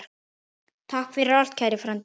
Takk fyrir allt, kæri frændi.